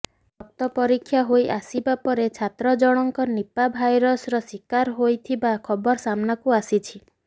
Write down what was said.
ରକ୍ତ ପରୀକ୍ଷା ହୋଇ ଆସିବା ପରେ ଛାତ୍ରଜଣଙ୍କ ନିପା ଭାଇରସର ଶିକାର ହୋଇଥିବା ଖବର ସାମ୍ନାକୁ ଆସିଛି